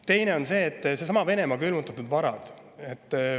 Teine on needsamad Venemaa külmutatud varad.